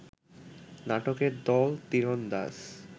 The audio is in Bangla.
নাটকের দল তীরন্দাজ